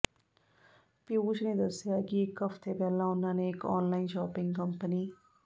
ਪਿਊਸ਼ ਨੇ ਦੱਸਿਆ ਕਿ ਇੱਕ ਹਫ਼ਤੇ ਪਹਿਲਾਂ ਉਨ੍ਹਾਂ ਨੇ ਇੱਕ ਆਨਲਾਈਨ ਸ਼ਾਪਿੰਗ ਕੰਪਨੀ